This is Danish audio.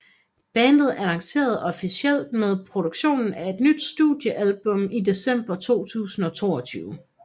Bandet annoncerede officielt med produktionen af et nyt studiealbum i december 2002